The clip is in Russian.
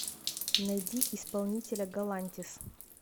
найди исполнителя галантис